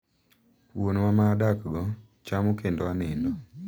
Wuonwa ma adakgo, chamo kendo anindo.